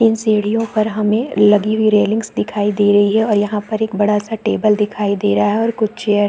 इन सीढ़ियों पर हमें लगी हुई रेलिंग्स दिखाई दे रहै है और यह पर एक बड़ा सा टेबल दिखाई दे रहा है और कुछ चेयर --